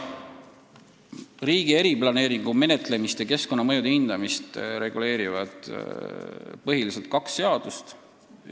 Riigi eriplaneeringu menetlemist ja keskkonnamõjude hindamist reguleerivad põhiliselt kaks seadust.